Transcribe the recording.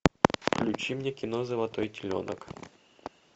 включи мне кино золотой теленок